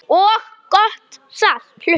og gott salat.